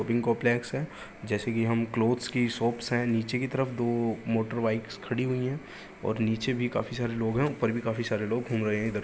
Shopping complex है। जैसे कि हम क्लोथ्स की शॉप है। नीचे की तरफ दो मोटरबाइक्स खड़ी हुई हैं और नीचे भी काफी सारे लोग हैं और ऊपर भी काफी सारे लोग घूम रहे हैं इधर --